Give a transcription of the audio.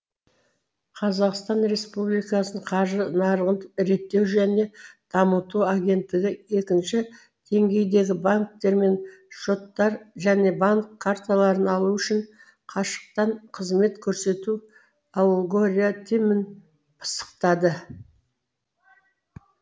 қазақстан республикасының қаржы нарығын реттеу және дамыту агенттігі екінші деңгейдегі банктермен шоттар және банк карталарын ашу үшін қашықтан қызмет көрсету алгоритмін пысықтады